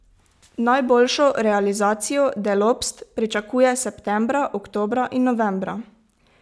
Najboljšo realizacijo Delopst pričakuje septembra, oktobra in novembra.